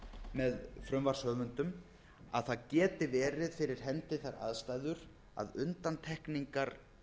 með frumvarpshöfundum að það geti verið fyrir hendi þær aðstæður að undantekningar